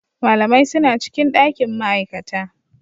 Malamai suna cikin dakin ma'aikata.